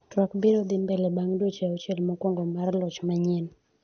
twak biro dhi mbele bang' dweche auchiel mokwongo mar loch manyien